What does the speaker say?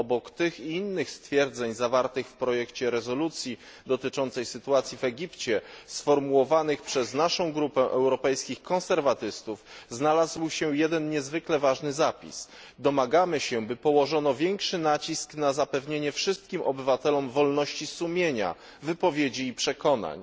Obok tych i innych stwierdzeń zawartych w projekcie rezolucji dotyczącej sytuacji w Egipcie, sformułowanych przez naszą grupę ECR, znalazł się jeden niezwykle ważny zapis domagamy się, by położono większy nacisk na zapewnienie wszystkim obywatelom wolności sumienia, wypowiedzi i przekonań.